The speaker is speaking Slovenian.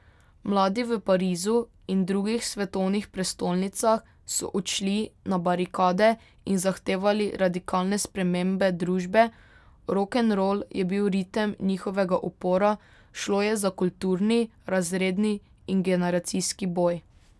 Mladi v Parizu in drugih svetovnih prestolnicah so odšli na barikade in zahtevali radikalne spremembe družbe, rokenrol je bil ritem njihovega upora, šlo je za kulturni, razredni in generacijski boj.